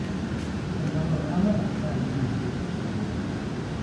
ore embata oo laramatak naa keun ilkeek tenkumoi